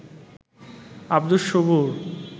Abdus Sabur